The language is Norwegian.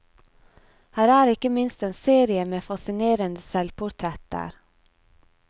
Her er ikke minst en serie med fascinerende selvportretter.